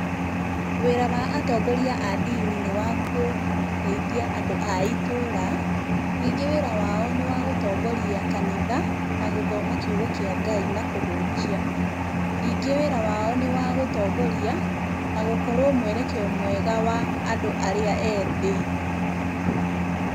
Wĩra wa atongoria a ndini nĩ wa gũteithia andũ a itũra. Ningĩ wĩra wao nĩ wa gũtongoria kanitha na gũthoma kiugo kĩa Ngai na kũhunjia. Ningĩ wĩra wao nĩ wa gũtongoria na gũkorwo mwerekeo mwega wa andũ arĩa ethĩ.